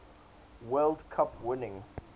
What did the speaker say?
world cup winning